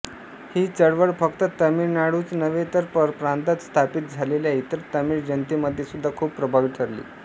ही चळवळ फक्त तमिळनाडूच नव्हे तर परप्रांतात स्थापित झालेल्या इतर तमिळ जनतेमध्येसुद्धा खूप प्रभावी ठरली